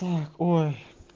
так ой